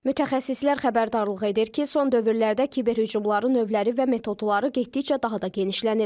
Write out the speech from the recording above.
Mütəxəssislər xəbərdarlıq edir ki, son dövrlərdə kiber hücumların növləri və metodları getdikcə daha da genişlənir.